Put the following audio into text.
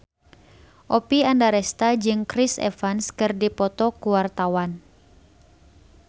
Oppie Andaresta jeung Chris Evans keur dipoto ku wartawan